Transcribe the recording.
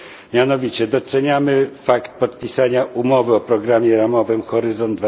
Mianowicie doceniamy fakt podpisania umowy o programie ramowym Horyzont